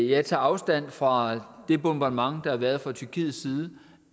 jeg tager afstand fra det bombardement der har været fra tyrkiets side